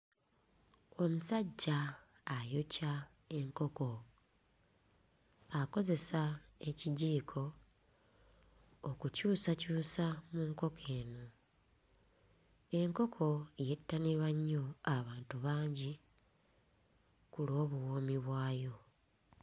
Omusajja ayokya enkoko, akozesa ekijiiko okukyusakyusa mu nkoko eno. Enkoko yettanirwa nnyo abantu bangi ku lw'obuwoomi bwayo.